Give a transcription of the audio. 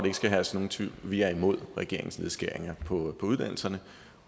ikke skal herske nogen tvivl vi er imod regeringens nedskæringer på uddannelserne